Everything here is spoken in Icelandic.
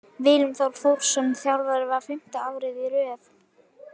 Willum Þór Þórsson þjálfar Val fimmta árið í röð.